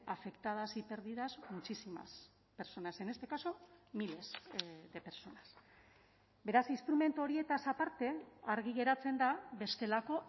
afectadas y pérdidas muchísimas personas en este caso miles de personas beraz instrumentu horietaz aparte argi geratzen da bestelako